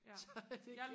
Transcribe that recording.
så det